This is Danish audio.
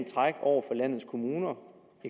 træk over for landets kommuner